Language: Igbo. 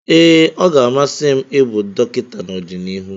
Ee, ọ ga-amasị m ịbụ dọkịta n'ọdịnihu.